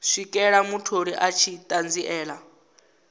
swikela mutholi a tshi ṱanziela